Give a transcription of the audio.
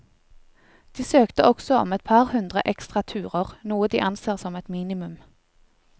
De søkte også om et par hundre ekstra turer, noe de anser som et minimum.